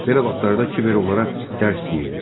Belə vaxtlarda kiber onlara dərs deyirdi.